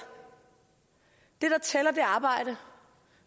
det der tæller er arbejde